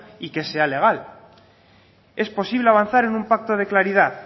y que sea legal es posible avanzar en un pacto de claridad